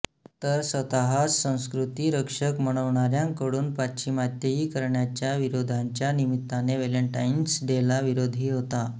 तर स्वतःस संस्कृती रक्षक म्हणवणाऱ्यांकडून पाश्चिमात्तयीकरणाच्या विरोधाच्या निमित्ताने व्हॅलेन्टाईन्स डेला विरोधही होतो